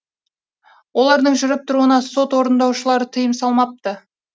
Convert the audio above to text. олардың жүріп тұруына сот орындаушылары тыйым салмапты